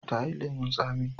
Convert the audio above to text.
ta yi lemun tsamiya